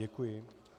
Děkuji.